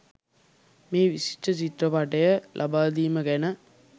මේ විශිෂ්ට චිත්‍රපටය ලබා දීම ගැන.